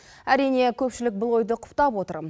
әрине көпшілік бұл ойды құптап отыр